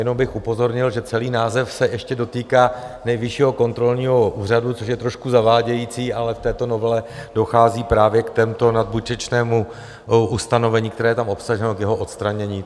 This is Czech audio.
Jenom bych upozornil, že celý název se ještě dotýká Nejvyššího kontrolního úřadu, což je trošku zavádějící, ale v této novele dochází právě k tomuto nadbytečnému ustanovení, které je tam obsaženo k jeho odstranění.